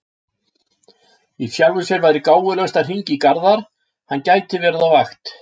Í sjálfu sér væri gáfulegast að hringja í Garðar, hann gæti verið á vakt.